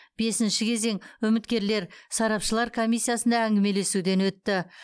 бесінші кезең үміткерлер сарапшылар комиссиясында әңгімелесуден өтті